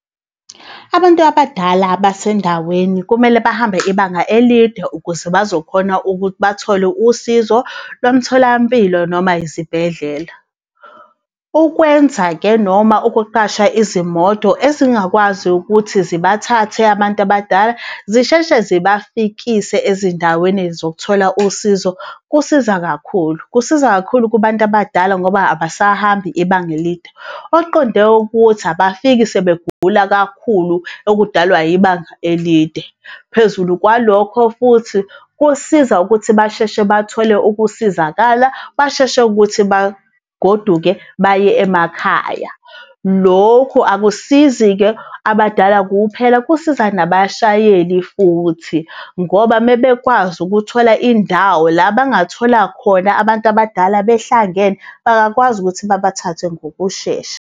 Abantu abadala basendaweni kumele bahambe ibanga elide ukuze bazokhona ukuthi bathole usizo lomtholampilo noma izibhedlela. Ukwenza-ke noma ukuqasha izimoto ezingakwazi ukuthi zibathathe abantu abadala zisheshe zibafikise ezindaweni zokuthola usizo, kusiza kakhulu, kusiza kakhulu kubantu abadala ngoba abasahambi ibanga elide. Okuqonde ukuthi abafiki sebegula kakhulu okudalwa ibanga elide. Phezulu kwalokho futhi kusiza ukuthi basheshe bathole ukusizakala, basheshe ukuthi bagoduke baye emakhaya. Lokhu akusizi-ke abadala kuphela, kusiza nabashayeli futhi, ngoba uma bekwazi ukuthola indawo la abangathola khona abantu abadala behlangene bangakwazi ukuthi babathathe ngokushesha.